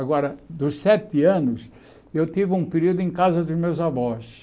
Agora, dos sete anos, eu tive um período em casa dos meus avós.